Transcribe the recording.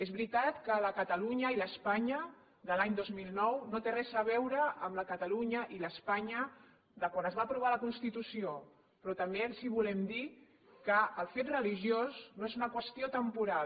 és veritat que la catalunya i l’espanya de l’any dos mil nou no tenen res a veure amb la catalunya i l’espanya de quan es va aprovar la constitució però també els volem dir que el fet religiós no és una qüestió temporal